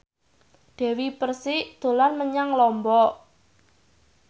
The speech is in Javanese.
Dewi Persik dolan menyang Lombok